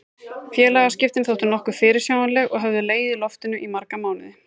Félagaskiptin þóttu nokkuð fyrirsjáanleg og höfðu legið í loftinu í marga mánuði.